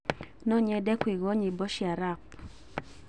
No nyende kũigua nyĩmbo cia rap.